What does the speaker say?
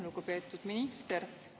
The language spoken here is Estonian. Lugupeetud minister!